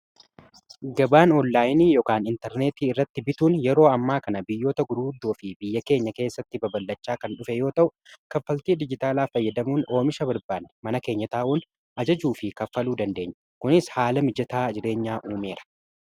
gabaan oonlaayini yookaan intarneetii irratti bituun yeroo ammaa kana biyyoota gurguddoo fi biyya keenya keessatti baballachaa kan dhufee yoo ta'u kaffaltii dijitaalaa fayyadamuun oomisha barbaan mana keenya taa'uun ajajuu fi kaffaluu dandeenyu kunis haala mijataa jireenyaa uumeera